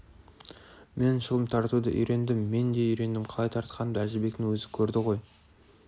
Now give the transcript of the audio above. мен шылым тартуды үйрендім мен де үйрендім қалай тартқанымды әжібектің өзі көрді ғой